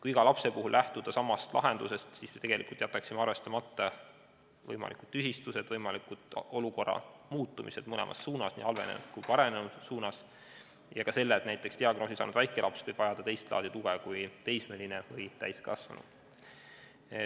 Kui iga lapse puhul lähtuda samast lahendusest, siis me tegelikult jätaksime arvestamata võimalikud tüsistused, olukorra võimaliku muutumise mõlemas suunas – nii halvenemise kui ka paranemise suunas – ja ka selle, et näiteks diagnoosi saanud väikelaps võib vajada teist laadi tuge kui teismeline või täiskasvanu.